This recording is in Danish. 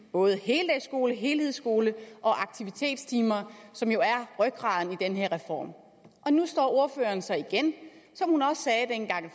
både heldagsskole helhedsskole og aktivitetstimer som jo er rygraden i den her reform og nu står ordføreren så igen